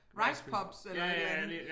Rice pops eller et eller andet